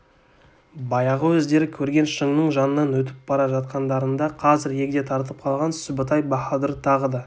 баяғы өздері көрген шыңның жанынан өтіп бара жатқандарында қазір егде тартып қалған сүбітай баһадур тағы да